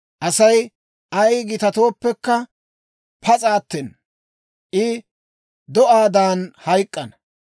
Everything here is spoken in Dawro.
Asay ay gitatooppekka pas'a attena; I do'aadan hayk'k'ana.